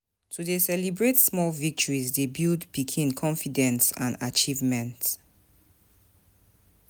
To dey celebrate small victories dey build pikin confidence and achievement.